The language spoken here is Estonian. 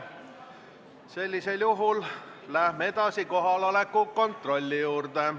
Sellisel juhul läheme edasi kohaloleku kontrolli juurde.